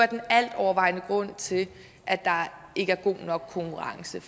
den altovervejende grund til at der ikke er god nok konkurrence